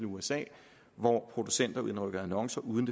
usa hvor producenter indrykker annoncer uden